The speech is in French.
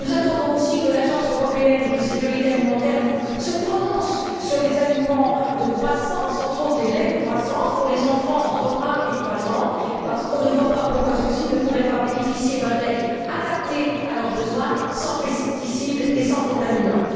Nous attendons aussi que l'Autorité européenne de sécurité des aliments se prononce sur les aliments de croissance, entre autres les laits de croissance pour les enfants entre 1 et 3 ans, parce qu'on ne voit pas pourquoi ceux ci ne pourraient pas bénéficier d'un lait adapté à leurs besoins, sans pesticides et sans contaminants.